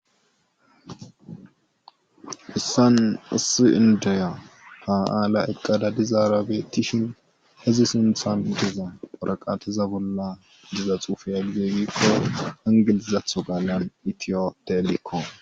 Hayssan issi indiya ha aala eqqada dizara beetishin izi sinththan diza warqateza bolla diza xuufe woygide giiko ingilizatho qaalan itophiya